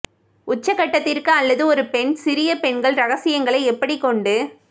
உச்சகட்டத்திற்கு அல்லது ஒரு பெண் சிறிய பெண்கள் இரகசியங்களை எப்படி கொண்டு